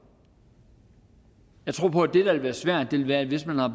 jeg tror på at det der vil være svært vil være hvis man har